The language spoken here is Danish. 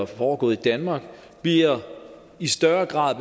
foregår i danmark i større grad